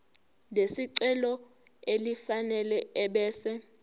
lesicelo elifanele ebese